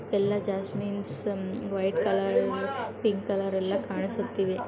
ಎಲ್ಲಾ jasmines white colour pink colour ಎಲ್ಲ ಕಾಣಿಸುತ್ತಿವೆ